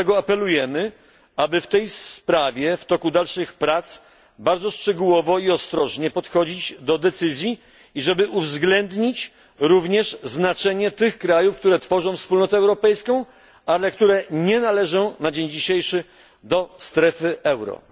Dlatego apelujemy, aby w tej sprawie w toku dalszych prac bardzo szczegółowo i ostrożnie pochodzić do decyzji, i żeby uwzględnić również znaczenie tych krajów, które tworzą wspólnotę europejską, ale które nie należą na dzień dzisiejszy do strefy euro.